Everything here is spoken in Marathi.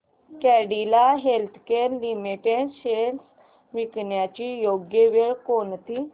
कॅडीला हेल्थकेयर लिमिटेड शेअर्स विकण्याची योग्य वेळ कोणती